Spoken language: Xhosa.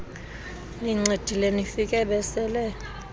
nincedile nifike besele